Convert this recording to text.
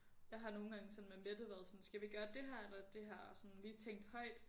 Jeg har nogen gange sådan med Mette været sådan skal vi gøre det her eller det her og sådan lige tænkt højt